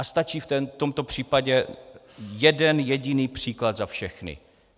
A stačí v tomto případě jeden jediný příklad za všechny.